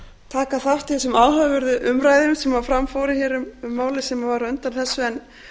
taka þátt í þessum áhugaverðu umræðum sem fram fóru hér um málið á undan þessu en